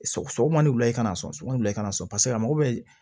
Sɔgɔ sɔgɔ ni wula i kana na so sɔgɔma wula i kana na sɔn paseke a mago bɛ